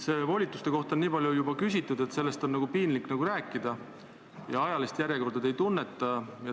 Volituste kohta on juba nii palju küsitud, et sellest on nagu piinlik rääkida, ja ajalist järjekorda te ei tunneta.